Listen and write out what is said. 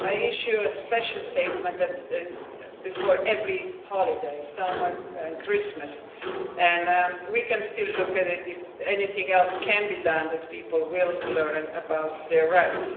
I issue a special statement before every holiday, summer and Christmas, and we can still look to see if anything else can be done so that people learn about their rights.